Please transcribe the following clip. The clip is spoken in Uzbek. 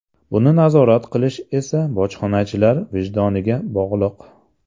Buni nazorat qilish esa bojxonachilar vijdoniga bog‘liq.